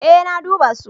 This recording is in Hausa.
Ee na duba su.